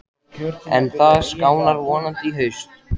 En það skánar vonandi í haust.